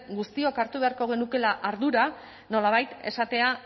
guztiok hartu beharko genukeela ardura nolabait esatea